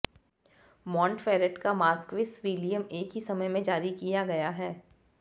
Montferrat का marquis William एक ही समय में जारी किया गया है